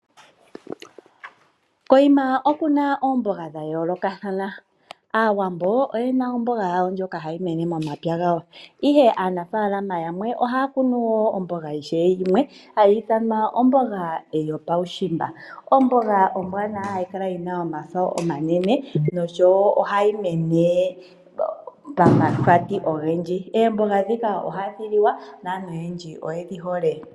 Koyima oku na oomboga dha yoolokathana. Aawambo oye na omboga yawo ndjoka ha yi mene momapya gawo, ihe aanafalama yamwe oha ya kunu woo omboga ishewe yimwe hayi ithanwa omboga yopawushimba, omboga ombwanawa hayi kala yina yomafo omanene noshowo ohayi mene pamahwati ogendji. Eemboga dhika ohadhi liwa, naantu oyendji oye dhi hole.